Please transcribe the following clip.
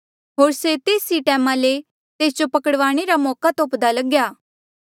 होर से तेस ई टैमा ले तेस जो पकड़वाणे रा मौका तोप्दा लग्या